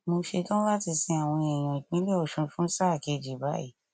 mo ṣetán láti sin àwọn èèyàn ìpínlẹ ọṣun fún sáà kejì báyìí